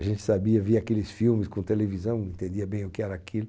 A gente sabia, via aqueles filmes com televisão, não entendia bem o que era aquilo,